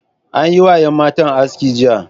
An yi wa yan matan aski jiya.